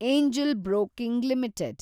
angel broking limited